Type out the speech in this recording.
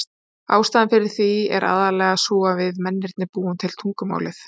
Ástæðan fyrir því er aðallega sú að við mennirnir búum til tungumálið.